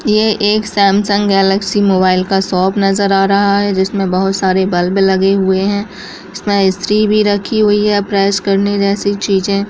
ये एक Samsung Galaxy mobile का शॉप नजर आ रहा है जिसमें बहोत सारे बल्ब लगे हुए हैं इसमें इस्त्री भी रखी हुई है प्रेस करने जैसी चीजें।